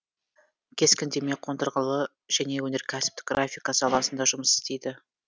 кескіндеме қондырғылы және өнеркәсіптік графика саласында жұмыс істейді